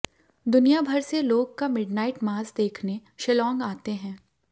दुनिया भर से लोग का मिडनाइट मास देखने शिलोंग आते हैं